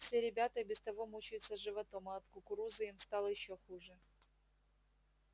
все ребята и без того мучаются животом а от кукурузы им стало ещё хуже